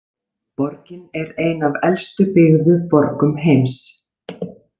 Borgin er ein af elstu byggðu borgum heims.